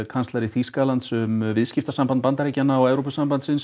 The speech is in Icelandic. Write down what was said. kanslari Þýskalands um viðskiptasamband Bandaríkjanna og Evrópusambandsins